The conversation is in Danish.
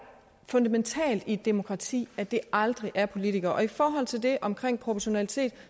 fundamentalt i et demokrati at det aldrig er politikere i forhold til det om proportionalitet